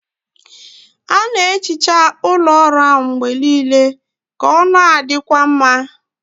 A na-ehicha ụlọ ọrụ ahụ mgbe niile ka ọ na-adịkwa mma.